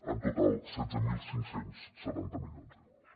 en total setze mil cinc cents i setanta milions d’euros